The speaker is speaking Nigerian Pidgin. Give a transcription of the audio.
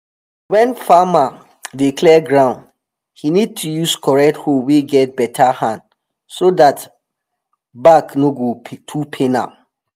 wen farmer dey clear ground he need to use correct hoe wey get beta hand so dat back no go too pain am